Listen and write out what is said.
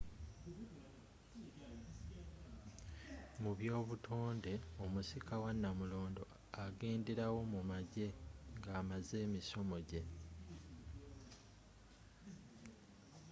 mu by'obutonde omusika wa nnamulondo agenderawo mu magye nga amaze emisomo gye